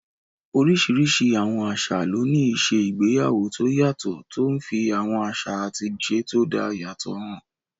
Oríṣiríṣi àwọn àṣà ló ní ìṣe igbéyàwó tó yàtọ̀, tó n fi àwọn àṣà àti ìṣe tó dá yàtọ̀ hàn